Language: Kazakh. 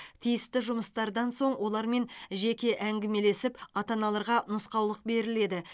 тиісті жұмыстардан соң олармен жеке әңгімелесіп ата аналарға нұсқаулық беріледі